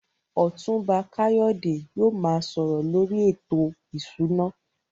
Otunba Kayode yóò máa sọ̀rọ̀ lórí ètò ìṣúná.